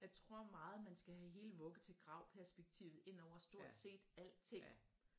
Jeg tror meget man skal have hele vugge til grav perspektivet ind over stort set alting